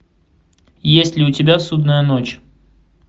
есть ли у тебя судная ночь